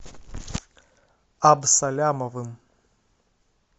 абсалямовым